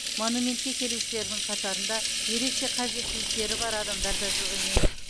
монументке келушілердің қатарында ерекше қажеттіліктері бар адамдар да жоқ емес